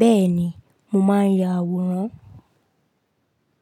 Bẹ́ẹ̀ ni, mo máa ń ya àwòrán.